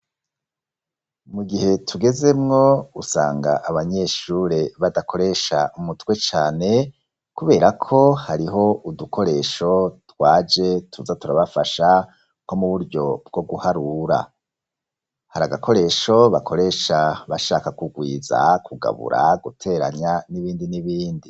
Mu gihe tugezemwo usanga abanyeshure badakoresha umutwe cane kubera ko hariho udukoresho twaje tuza turabafasha nko mu buryo bwo guharura. Hari agakoresho bakoresha bashaka kugwiza, kugabura, guteranya, n'ibindi n'ibindi.